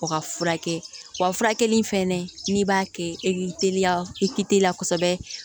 O ka furakɛ wa furakɛli in fɛnɛ n'i b'a kɛ e k'i teliya i k teliya kosɛbɛ